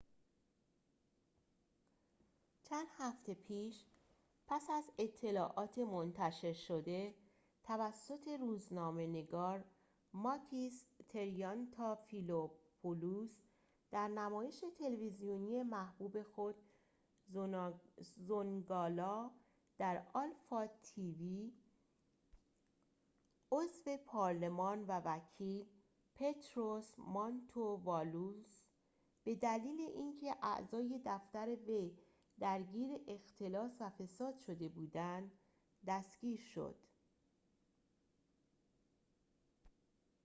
چند هفته پیش پس از اطلاعات منتشر شده توسط روزنامه نگار ماکیس تریانتافیلوپولوس در نمایش تلویزیونی محبوب خود زونگالا در آلفا تی وی عضو پارلمان و وکیل پطروس مانتووالوس به دلیل اینکه اعضای دفتر وی درگیر اختلاس و فساد شده بودند دستگیر شد